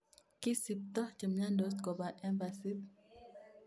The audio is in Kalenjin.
Kisibtoo chemyandoos koba embasit